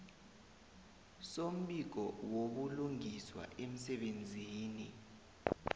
sombiko wobulungiswa emsebenzini